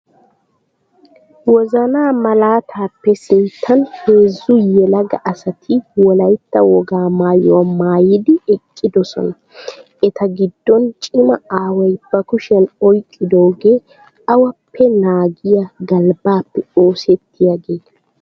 Wozana malaattappe sinttan heezzu yelaga asati wolaytta wogaa maayuwa maayiddi eqqidosona. Eta gidon cima aaway ba kushiyan oyqqidoogee awappe naagiya galbbappe oosetiyaaga.